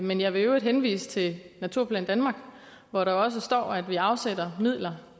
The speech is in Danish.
men jeg vil i øvrigt henvise til naturplan danmark hvor der også står at vi afsætter midler